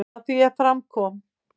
Að því er fram kom í